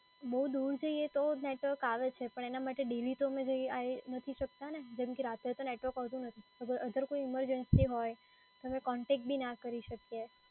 બઉ દૂર જઈ તો નેટવર્ક આવે છે, પણ એના માટે daily તો જઈ-આઈ શકતા નથી ને. જેમ કે રાતે તો નેટવર્ક આવતું નથી. અગર કોઈ emergency હોય અમે કોન્ટેક્ટ બી નાં કરી શકીએ.